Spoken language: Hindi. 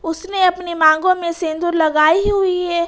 उसने अपनी मांगों में सेंदूर लगाई हुई है।